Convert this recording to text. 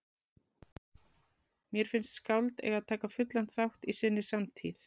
Mér finnst skáld eiga að taka fullan þátt í sinni samtíð.